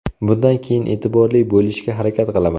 Bundan keyin e’tiborli bo‘lishga harakat qilaman.